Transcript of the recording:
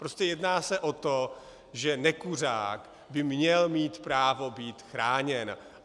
Prostě jedná se o to, že nekuřák by měl mít právo být chráněn.